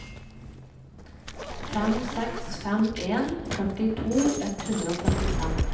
fem seks fem en førtito ett hundre og førtifem